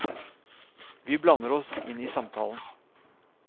Vi blander oss inn i samtalen.